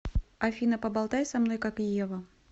афина поболтай со мной как ева